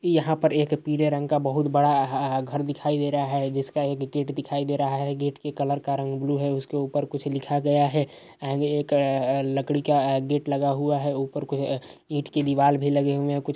यहाँ पर एक पीले रंग का बोहोत बड़ा अ घर दिखाई दे रहा है। जिसका एक गेट दिखाई दे रहा है। गेट के कलर का रंग ब्लू है उसके ऊपर कुछ लिखा गया है। आगे एक लकड़ी का गेट लगा हुआ है। ऊपर कोई ईट की दीवाल भी लगे हुए है कुछ --